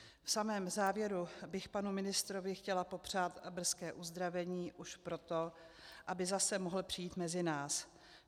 V samém závěru bych panu ministrovi chtěla popřát brzké uzdravení, už proto, aby zase mohl přijít mezi nás.